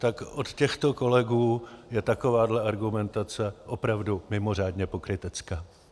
Tak od těchto kolegů je takováhle argumentace opravdu mimořádně pokrytecká.